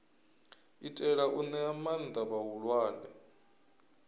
itela u ṅea maanḓa vhaaluwa